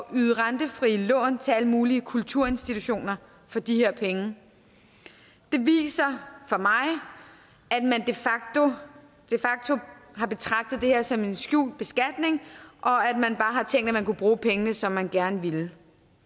yde rentefrie lån til alle mulige kulturinstitutioner for de her penge det viser for mig at man de facto har betragtet det her som en skjult beskatning og at man bare har tænkt at man kunne bruge pengene som man gerne ville